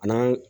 A n'an